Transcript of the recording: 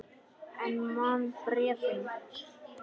En man bréfin.